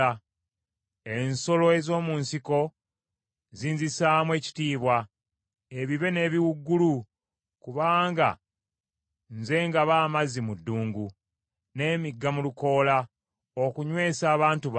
Ensolo ez’omu nsiko zinzisaamu ekitiibwa, ebibe n’ebiwuugulu; kubanga nze ngaba amazzi mu ddungu, n’emigga mu lukoola, okunywesa abantu bange, abalonde bange,